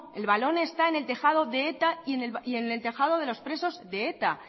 el balón está en el tejado de eta y en el tejado de los presos de eta